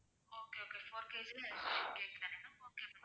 okay okay four KG ல ice creaam தான okay ma'am